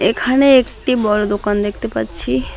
এখানে একটি বড় দোকান দেখতে পাচ্ছি।